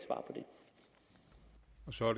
svar